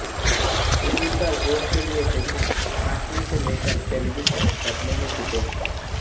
उम्मीदवार वोट के लिये पैसा बांटने से लेकर पैलगी तक करने मे जुटे है